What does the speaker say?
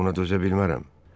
Mən buna dözə bilmərəm.